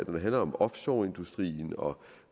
det handler om offshore industrien og